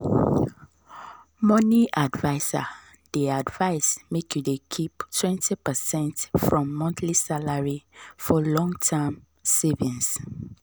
money adviser dey advise make you dey keep 20 percent from monthly salary for long-term savings.